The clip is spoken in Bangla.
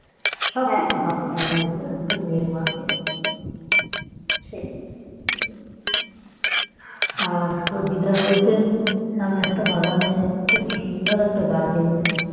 সবকিছু ভাবতে হয় মেয়ের মাকে আর তো দিদার বাড়িতে সামনে একটা বাগানে খুব সুন্দর একটা গাছ হয়েছে